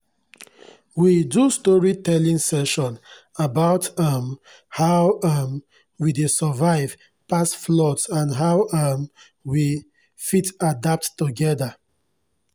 we do storytelling session about um how um we dey survive past floods and how um we fit adapt togeda